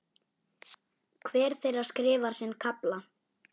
Hver þeirra skrifar sinn kafla.